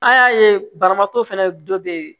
An y'a ye banabaatɔ fɛnɛ dɔ be ye